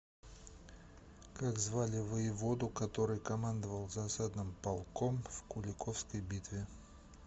как звали воеводу который командовал засадным полком в куликовской битве